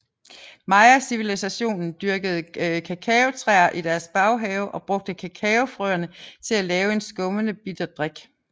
Mayacivilisationen dyrkede kakaotræer i deres baghave og brugte kakaofrøene at lave en skummende bitter drik